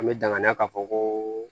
An bɛ danganiya ka fɔ koo